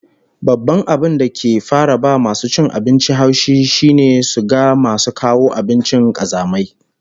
Babban abin da kan fara ba masu cin abinci haushi shine su ga masu kawo abinci kazamai